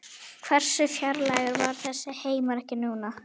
Hversu fjarlægur var þessi heimur ekki núna.